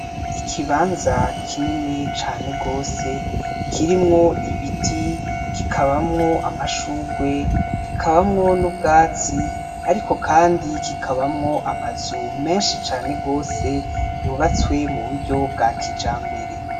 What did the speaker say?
Ikibanza kinini cane gose kirimwo ibiti kikabamwo amashurwe, kikabamwo n’ubwatsi ariko Kandi kikabamwo amazu menshi cane gose yubatswe mu buryo bwa kijambere.